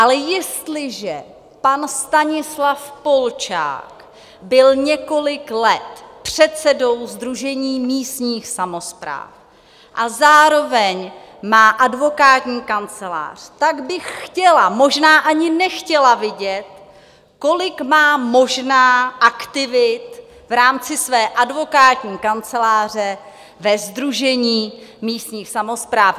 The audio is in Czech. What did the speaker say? Ale jestliže pan Stanislav Polčák byl několik let předsedou Sdružení místních samospráv a zároveň má advokátní kancelář, tak bych chtěla, možná ani nechtěla vidět, kolik má možná aktivit v rámci své advokátní kanceláře ve Sdružení místních samospráv.